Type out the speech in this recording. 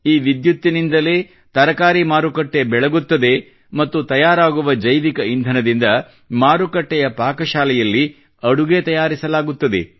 ಈ ವಿದ್ಯುತ್ತಿನಿಂದಲೇ ತರಕಾರಿ ಮಾರುಕಟ್ಟೆ ಬೆಳಗುತ್ತದೆ ಮತ್ತು ತಯಾರಾಗುವ ಜೈವಿಕ ಇಂಧನದಿಂದ ಮಾರುಕಟ್ಟೆಯ ಪಾಕಶಾಲೆಯಲ್ಲಿ ಅಡುಗೆ ತಯಾರಿಸಲಾಗುತ್ತದೆ